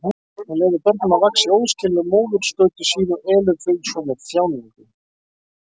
Hún leyfir börnum að vaxa í óskiljanlegu móðurskauti sínu og elur þau svo með þjáningu.